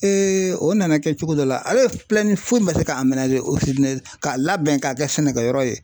o nana kɛ cogo dɔ la, hale foyi ma se ka ka labɛn k'a kɛ sɛnɛkɛyɔrɔ ye .